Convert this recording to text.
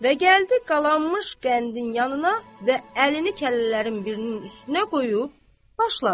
Və gəldi qalanmış qəndin yanına və əlini kəllələrin birinin üstünə qoyub başladı.